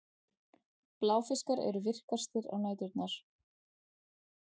Bláfiskar eru virkastir á næturnar.